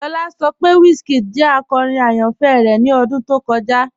Lọlá sọ pé WizKid jẹ akọ́rin ayánfẹ́ rẹ ni ọdún tó kọja.